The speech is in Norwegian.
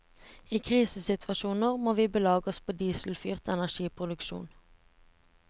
I krisesituasjoner må vi belage oss på dieselfyrt energiproduksjon.